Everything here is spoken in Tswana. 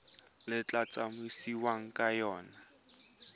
le tla tsamaisiwang ka yona